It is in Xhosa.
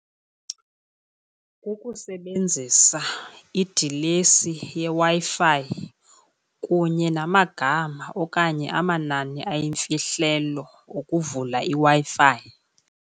Ukusebenzisa idilesi yeW-Fi kunye namagama okanye amanani ayimfihlelo ukuvula iWi-Fi.